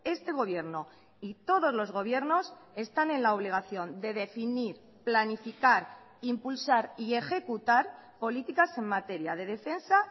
este gobierno y todos los gobiernos están en la obligación de definir planificar impulsar y ejecutar políticas en materia de defensa